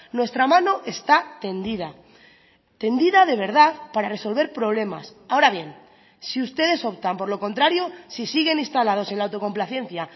nuestra mano está tendida tendida de verdad para resolver problemas ahora bien si ustedes optan por lo contrario si siguen instalados en la autocomplacencia